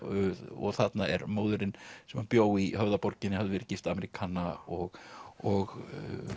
og þarna er móðirin sem bjó í Höfðaborginni hafði verið gift Ameríkana og og